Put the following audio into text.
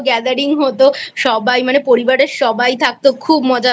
Gathering হত সবাই মানেপরিবারের সবাই থাকত খুব মজা